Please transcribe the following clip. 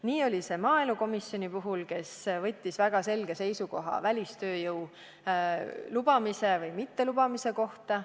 Nii oli see maaelukomisjoni puhul, kes võttis väga selge seisukoha välistööjõu lubamise või mittelubamise kohta.